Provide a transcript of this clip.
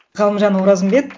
ғалымжан оразымбет